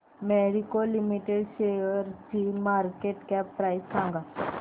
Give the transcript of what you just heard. Marico limited शेअरची market cap price सांगा